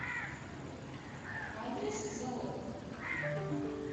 адрес залог